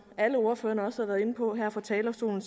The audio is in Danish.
alle ordførerne også har været inde på her fra talerstolen